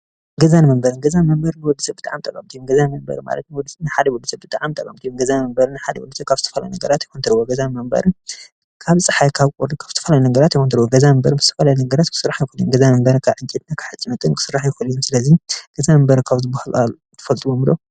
ገዛ መንበሪ ገዛ መንበሪ ንወድሰብ ብጣዕሚ ጠቐምቲ እዮም:: ገዛ መንበሪ ማለት ንሓደ ወድሰብ ብጣዕሚ ጠቐምቲ እዮም:: ገዛ መንበሪ ንሓደ ወድሰብ ካብ ዝተፈላለዩ ነገራት ይሰትርዎ ::ገዛ መንበሪ ካብ ፀሓይ፣ ካብ ቁሪ ካብ ዝተፈላለዩ ነገራት ይሰትርዎ:: ገዛ መንበሪ ካብ ዝተፈላለዩ ነገራት ክስራሕ ይኽእል እዩ:: ገዛ መንበሪ ካብ ዕንጨይትን ካብ ሓፂንን ክስራሕ ይኽእል እዩ:: ስለዚ ገዛ መንበሪ ካብ ዝብሃሉ ትፈልጥዎም ዶ?